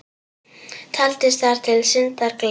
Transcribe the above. Taldist þar til syndar, gleðin.